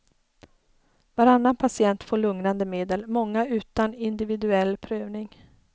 Varannan patient får lugnande medel, många utan individuell prövning.